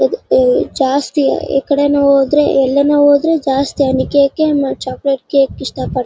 ಅಹ್ ಜಾಸ್ತಿಯ ಈಕಡೆ ನೋಡಿದ್ರೆ ಎಲ್ಲಾನು ಹೋದ್ರು ಜಾಸ್ತಿ ಹನಿ ಕೇಕ್ ಚಾಕೊಲೇಟ್ ಕೆಕ್‌ ಇಷ್ಟ ಪಡತ್ತರೆ.